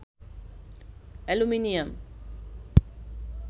aluminium